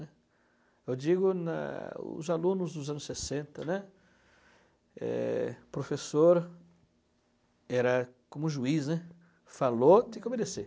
Eu digo, na, os alunos dos anos sessenta, né, é o professor era, como juiz, né, falou, tem que obedecer.